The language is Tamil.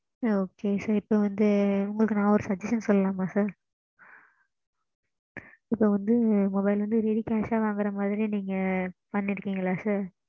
ஆ சொல்லுங்க mam